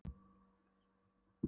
Dúlla litla svaf í einu herbergjanna.